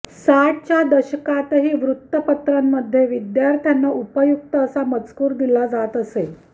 साठच्या दशकातही वृत्तपत्रांमध्ये विद्यार्थ्यांना उपयुक्त असा मजकूर दिला जात असे